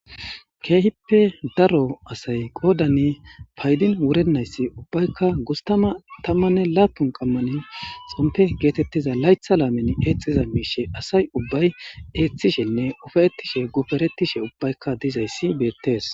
Keehippe daro asay qoodani paydin wurennayssi ubbaykka gustama tammanne laapun qammanin xompe geetettiza laytha laamen eexiza miishe asay ubbay eeththishenne ufayetishe guferetishe ubbaykka dizayssi beettees.